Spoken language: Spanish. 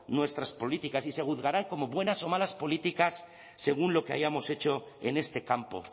nuestras políticas y se juzgarán como buenas o malas políticas según lo que hayamos hecho en este campo